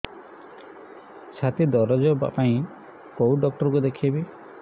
ଛାତି ଦରଜ ପାଇଁ କୋଉ ଡକ୍ଟର କୁ ଦେଖେଇବି